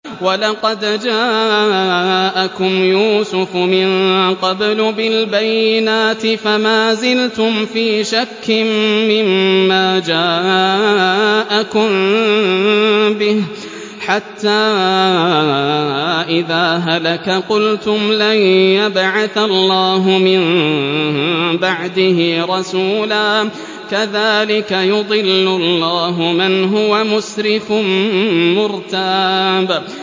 وَلَقَدْ جَاءَكُمْ يُوسُفُ مِن قَبْلُ بِالْبَيِّنَاتِ فَمَا زِلْتُمْ فِي شَكٍّ مِّمَّا جَاءَكُم بِهِ ۖ حَتَّىٰ إِذَا هَلَكَ قُلْتُمْ لَن يَبْعَثَ اللَّهُ مِن بَعْدِهِ رَسُولًا ۚ كَذَٰلِكَ يُضِلُّ اللَّهُ مَنْ هُوَ مُسْرِفٌ مُّرْتَابٌ